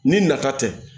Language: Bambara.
Ni nata tɛ